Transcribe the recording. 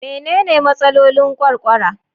Menene Matsalolin Ƙwarƙwara?